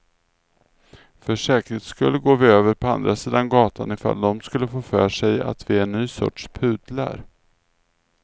För säkerhets skull går vi över på andra sidan gatan ifall de skulle få för sig att vi är en ny sorts pudlar.